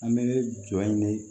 An bɛ jɔ in de